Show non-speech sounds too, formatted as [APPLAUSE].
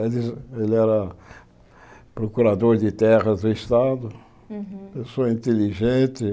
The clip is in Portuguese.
[UNINTELLIGIBLE] Ele era procurador de terras do estado, pessoa inteligente.